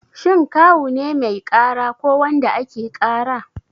Shin Kawu ne mai ƙara ko wanda ake ƙara?